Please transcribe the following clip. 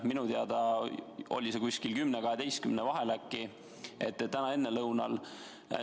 Minu teada oli see kella 10 ja 12 vahel.